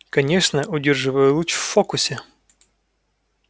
конечно удерживая луч в фокусе